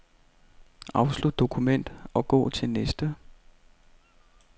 Afslut dokument og gå til næste.